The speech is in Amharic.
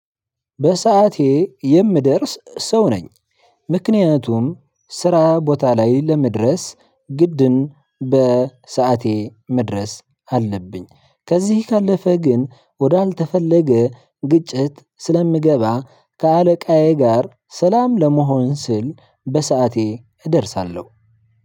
በሰአቴ የምደርስ ሰው ነኝ። ምክንያቱም ስራ ቦታ ላይ ለመድረስ ግድን በሰአቴ መድረስ አለብኝ ከዚህ ካለፈ ግን ወዳልተፈለገ ግጭት ስለምገባ ከአለቃዬ ጋር ሰላም ለመሆን ስል በሰአቴ እደርሳለሁ።